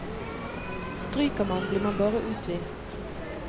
Stryker man, blir man bare utvist.